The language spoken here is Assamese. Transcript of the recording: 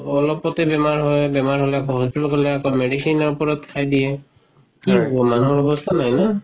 অলপতে বেমাৰ হয় বেমাৰ হলে আকৌ hospital গ লে আকৌ medicine ৰ ওপৰত খাই দিয়ে কি হব মানুহৰ অৱস্থা নাই ন